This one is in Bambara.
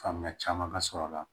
Faamuya caman ka sɔrɔ a la